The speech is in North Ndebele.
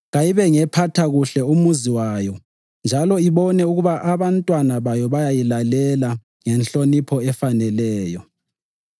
Kayibe ngephatha kuhle umuzi wayo njalo ibone ukuba abantwana bayo bayayilalela ngenhlonipho efaneleyo.